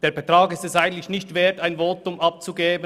Der Betrag ist es eigentlich nicht wert, ein Votum abzugeben.